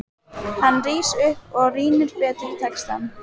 Hann rís upp og rýnir betur í textann.